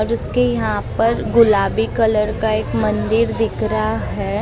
और जिसके यहां पर गुलाबी कलर का एक मंदिर दिख रहा है।